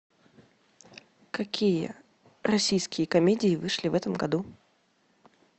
какие российские комедии вышли в этом году